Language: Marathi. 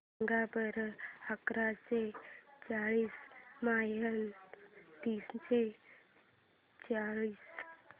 सांगा बरं अकराशे चाळीस मायनस तीनशे चाळीस